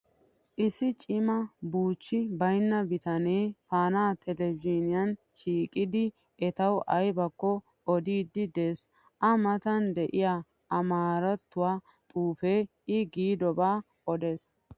Issi cima buuchchi bayinna bitanee faanaa telbejiiniyan shiiqidi etawu ayibakko odiiddi des. A matan diyaa amaarattuwaa xuupe I giidobaa odes.